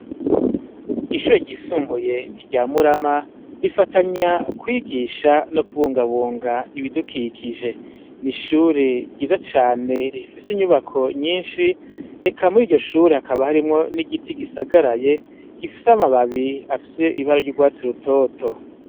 Ishure ryisumbuye rya Murama rifatanya kwigisha no kubungabunga ibidukikije ni ishure ryiza cane rifise inyubako nyinshi reka muri iryo shure hakaba harimwo n'igiti gisagaraye gifise amababi afise ibara ry'urwatsi rutoto.